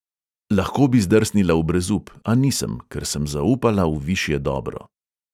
Lahko bi zdrsnila v brezup, a nisem, ker sem zaupala v višje dobro.